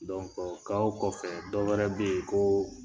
kɔfɛ dɔwɛrɛ bɛ yen ko